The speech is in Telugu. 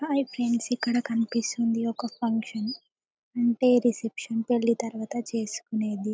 హాయ్ ఫ్రెండ్స్ ఇక్కడ కనిపిస్తుంది ఒక ఫంక్షన్ అంటే రిసెప్షన్ పెళ్లి తర్వాత చేసుకునేది.